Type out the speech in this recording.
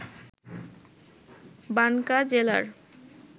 বানকা জেলার